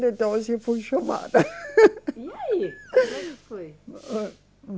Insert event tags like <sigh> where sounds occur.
e dois eu fui chamada. <laughs> E aí? Como é que foi?